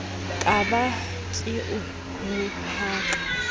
ka ba ke o rohaka